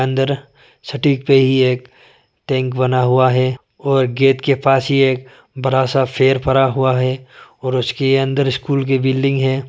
अंदर सटीक पे ही एक टैंक बना हुआ है और गेट के पास ही एक बड़ा सा पेड़ परा हुआ है और उसके अंदर स्कूल की बिल्डिंग है।